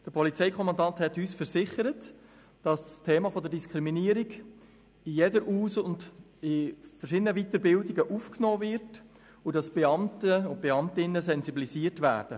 Der Polizeikommandant hat uns versichert, dass das Thema der Diskriminierung in jeder Aus- und in verschiedenen Weiterbildungen aufgenommen wird und dass die Beamten und Beamtinnen für das Problem sensibilisiert werden.